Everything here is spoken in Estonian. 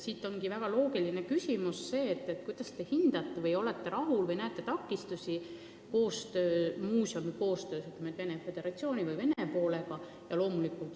Siit ka minu loogiline küsimus: kuidas te hindate muuseumi koostööd Venemaa Föderatsiooni või Vene kolleegidega?